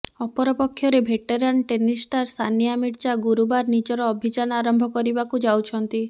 ଅପରପକ୍ଷରେ veteran tennis star Sania Mirza ଗୁରୁବାର ନିଜର ଅଭିଯାନ ଆରମ୍ଭ କରିବାକୁ ଯାଉଛନ୍ତି